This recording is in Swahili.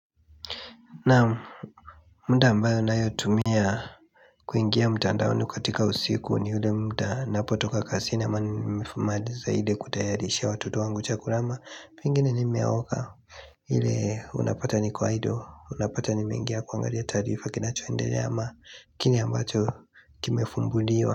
Naamu muda ambayo ninayotumia kuingia mtandaoni katika usiku ni ule muda napotoka kazini ama nimemaliza ile kutayarishia watoto wangu chakula ama pengine nimeoga ile unapata ni kwa idle unapata nimeingia kuangalia tarifa kinachoendele ama kile ambacho kimefumbuliwa.